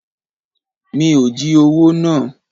Mi ò jí owó náà.